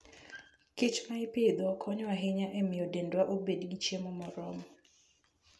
kich ma ipidho konyo ahinya e miyo dendwa obed gi chiemo moromo.